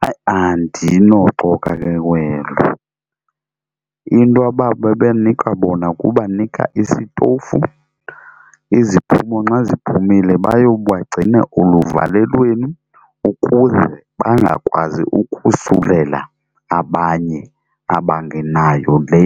Hayi andinoxoka ke kwelo into ababebenika bona kubanika isitofu. Iziphumo nxa ziphumile bayobagcina eluvalelweni ukuze bangakwazi ukosulela abanye abangenayo le